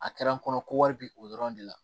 A kɛra n kɔnɔ ko wari bɛ o dɔrɔn de la